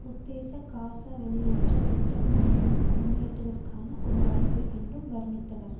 உத்தேச காசா வெளியேற்ற திட்டம் முன்னேற்றத்திற்கான ஒரு வாய்ப்பு என்று வர்ணித்தார்